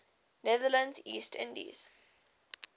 netherlands east indies